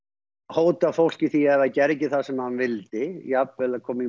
hótað fólki því að ef það gerði ekki það sem hann vildi jafnvel kom